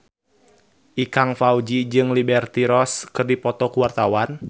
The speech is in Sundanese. Ikang Fawzi jeung Liberty Ross keur dipoto ku wartawan